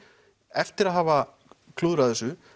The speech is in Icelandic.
eftir að hafa klúðrað þessu